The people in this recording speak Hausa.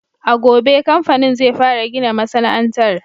A gobe kamfanin zai fara gina masana'antar.